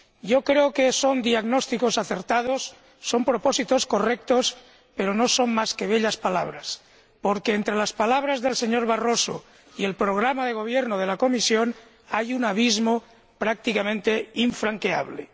Yo creo que son diagnósticos acertados, son propósitos correctos, pero no son más que bellas palabras, porque entre las palabras del señor Barroso y el programa de gobierno de la Comisión hay un abismo prácticamente infranqueable.